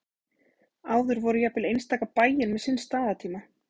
áður voru jafnvel einstaka bæir með sinn staðartíma